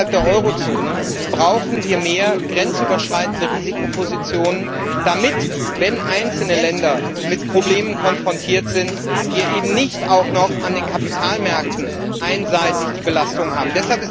Gerade innerhalb der Eurozone brauchen wir mehr grenzüberschreitende Risikopositionen, damit wir eben, wenn einzelne Länder mit Problemen konfrontiert sind, nicht auch noch an den Kapitalmärkten einseitig die Belastung haben.